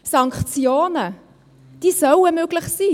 Sanktionen sollen möglich sein.